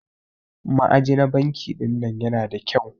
Ma'aji na banki ɗinnan Yana da kyau.